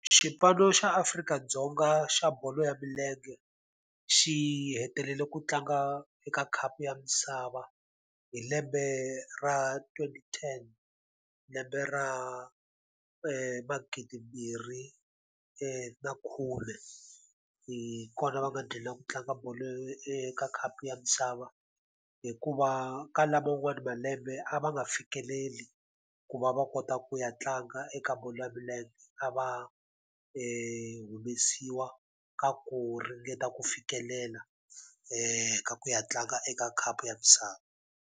Xipano xa Afrika-Dzonga xa bolo ya milenge xi hetelele ku tlanga eka khapu ya misava hi lembe ra twenty ten, lembe ra magidimbirhi na khume. Hi kona va nghina ku tlanga bolo ka khapu ya misava, hikuva ka laman'wana malembe a va nga fikeleli ku va va kota ku ya tlanga eka bolo ya milenge. A va humesiwa ka ku ringeta ku fikelela ka ku ya tlanga eka khapu ya misava.